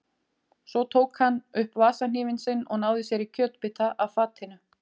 Svo tók hann upp vasahnífinn sinn og náði sér í kjötbita af fatinu.